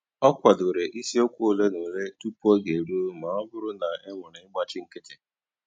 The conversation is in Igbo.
Ọ kwàdòrè ìsìòkwụ́ òlé na òlé tupu ógè èrùó mà ọ́ bụ́rụ́ na ènwèrè ị̀gbáchì nkìtì.